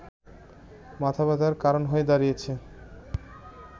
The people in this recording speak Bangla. মাথাব্যথার কারণ হয়ে দাঁড়িয়েছে